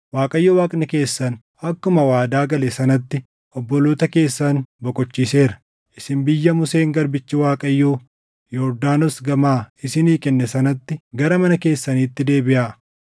Waaqayyo Waaqni keessan akkuma waadaa gale sanatti obboloota keessan boqochiiseera; isin biyya Museen garbichi Waaqayyoo Yordaanos gamaa isinii kenne sanatti gara mana keessaniitti deebiʼaa.